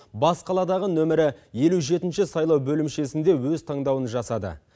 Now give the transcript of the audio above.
бас қаладағы нөмірі елу жетінші сайлау бөлімшесінде өз таңдауын жасады